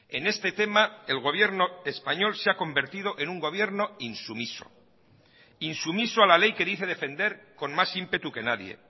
en este tema el gobierno español se ha convertido en un gobierno insumiso insumiso a la ley que dice defender con más ímpetu que nadie